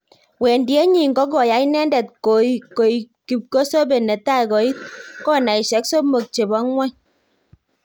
Wendiet nyin ko koyai inendet koikkipkosope netai koit konaisiek somok chebo ng'wony